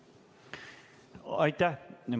Aitäh!